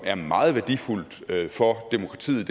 er meget værdifuldt for demokratiet